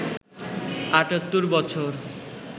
৭৮ বছর